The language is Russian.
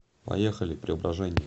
поехали преображение